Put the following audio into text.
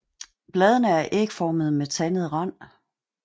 Bladene er ægformede med tandet rand